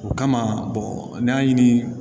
O kama n'i y'a ɲini